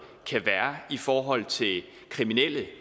kan være i forhold til kriminelle